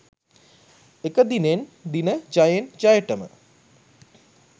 එක දිනෙන් දින ජයෙන් ජයටම